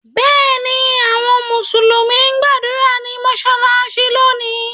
Bẹ́ẹ̀ ni, àwọn Mùsùlùmí ń gbàdúrà ní mọ́ṣáláṣí lónìí.